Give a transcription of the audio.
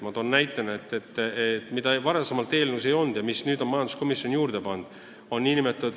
Ma toon näite ühe regulatsiooni kohta, mida varem eelnõus ei olnud ja mille nüüd on majanduskomisjon sinna pannud.